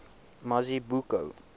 mazibuko